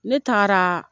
Ne taara